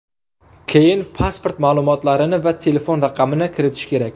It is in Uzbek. Keyin pasport ma’lumotlarini va telefon raqamini kiritish kerak.